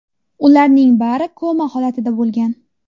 Ularning bari koma holatida bo‘lgan.